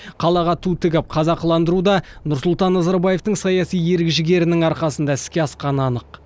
қалаға ту тігіп қазақыландыру да нұрсұлтан назарбаевтың саяси ерік жігерінің арқасында іске асқаны анық